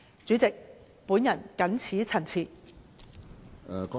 主席，我謹此陳辭。